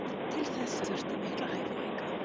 Til þess þurfti mikla hæfileika.